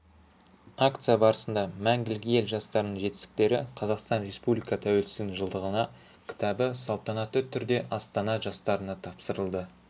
акция барысында мәңгілік ел жастарының жетістіктері қазақстан респуликасы тәуелсіздігінің жылдығына кітабы салтанатты түрде астана жастарына тапсырылды